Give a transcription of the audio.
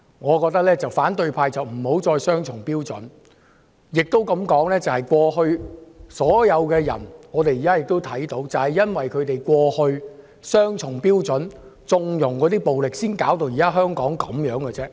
我覺得反對派不要再持雙重標準，或許這樣說，正正因為過去和現在他們都持雙重標準，縱容暴力，才搞成香港現在這個樣子。